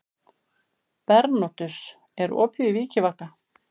Bernódus, er opið í Vikivaka?